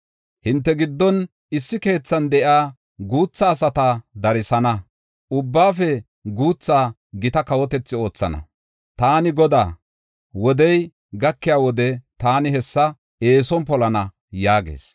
Hinte giddon issi keethan de7iya guutha asata darsana; ubbaafe guuthaa gita kawotethi oothana. Taani Godaa; wodey gakiya wode, taani hessa eeson polana” yaagees.